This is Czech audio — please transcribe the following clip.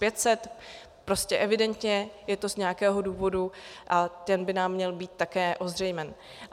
Prostě evidentně je to z nějakého důvodu a ten by nám měl být také ozřejmen.